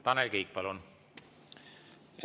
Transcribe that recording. Tanel Kiik, palun!